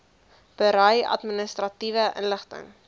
berei administratiewe inligting